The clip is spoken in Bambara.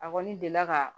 A kɔni delila ka